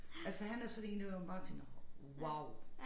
Altså han er sådan én der hvor man bare tænker wow